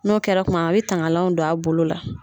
N'o kɛra kuma min a bɛ tangalanw don a bolo la.